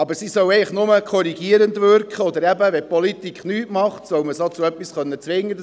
Eigentlich sollen sie nur korrigierend wirken, oder die Politik soll damit, falls sie nichts tut, zu etwas gezwungen werden.